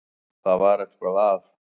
Það var eitthvað að.